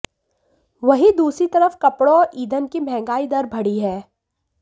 वहीं दूसरी तरफ कपड़ों और ईंधन की महंगाई दर बढ़ी है